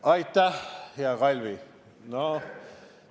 Aitäh, hea Kalvi!